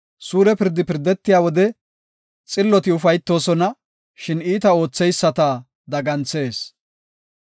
Suure pirdi pirdetiya wode, xilloti ufaytoosona; shin iita ootheyisata daganthees.